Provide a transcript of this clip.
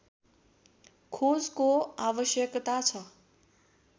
खोजको आवश्यकता छ